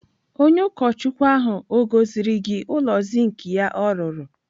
Onye ụkọchukwu ahụ o gosiri gị ụlọ zink ya o rụrụ?